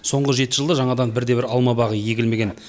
соңғы жеті жылда жаңадан бірде бір алма бағы егілмеген